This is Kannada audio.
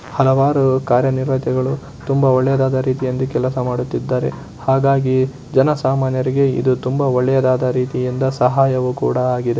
ಹಲವಾರು ಕಾರ್ಯಕರ್ತರುಗಳು ತುಂಬಾ ಒಳ್ಳೆದಾದ ರೀತಿಯಿಂದ ಕೆಲಸ ಮಾಡುತ್ತಿದ್ದಾರೆ. ಹಾಗಾಗಿ ಜನಸಾಮಾನ್ಯರಿಗೆ ಇದು ತುಂಬಾ ಒಳ್ಳೆಯದಾದ ರೀತಿಯಿಂದ ಸಹಾಯವು ಕೂಡಾ ಆಗಿದೆ.